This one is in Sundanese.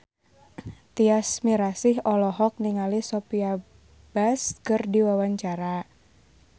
Tyas Mirasih olohok ningali Sophia Bush keur diwawancara